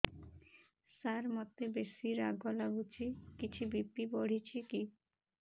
ସାର ମୋତେ ବେସି ରାଗ ଲାଗୁଚି କିଛି ବି.ପି ବଢ଼ିଚି କି